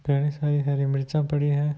कई सारी हरी मिर्चा पड़ी हैं।